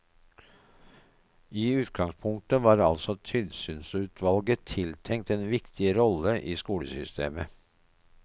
I utgangspunktet var altså tilsynsutvalget tiltenkt en viktig rolle i skolesystemet.